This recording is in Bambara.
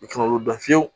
U ka olu dɔn fiyewu